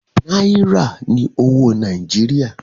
Náírà ni owó Nàìjíríà.